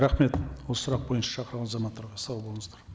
рахмет осы сұрақ бойынша шақырылған азаматтарға сау болыңыздар